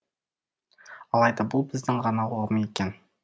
алайда бұл біздің ғана ұғым екен